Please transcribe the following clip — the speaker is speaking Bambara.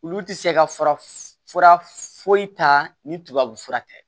Olu tɛ se ka fara foyi ta ni tubabu fura tɛ